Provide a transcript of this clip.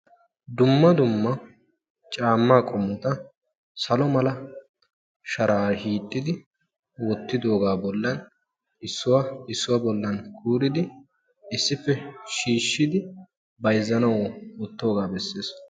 Dumma dumma caammaa qommota salo mala shara hiixidi woottidooga bollan issuwaa issuwa bollan kuuridi issippe shiishshidi bayzzanawu woottoogaa bessees.